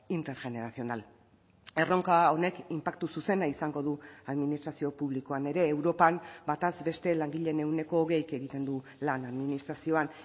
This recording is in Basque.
intergeneracional erronka honek inpaktu zuzena izango du administrazio publikoan ere europan bataz beste langileen ehuneko hogeik egiten du lan administrazioan